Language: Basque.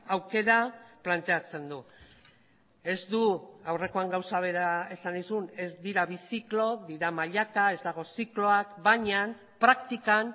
aukera planteatzen du ez du aurrekoan gauza bera esan nizun ez dira bi ziklo dira mailaka ez dago zikloak baina praktikan